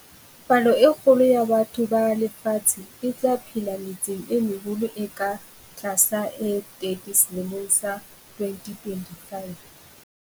Palo e kgolo ya batho ba lefatshe e tla phela metseng e meholo e ka tlasa e 30 selemong sa 2025.